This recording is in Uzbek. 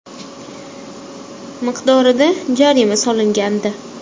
miqdorida jarima solgandi.